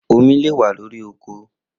Omi le wa lori oko